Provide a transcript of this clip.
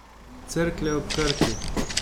Cerklje ob Krki.